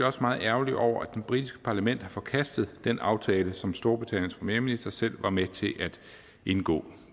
også meget ærgerlige over at det britiske parlament har forkastet den aftale som storbritanniens premierminister selv var med til at indgå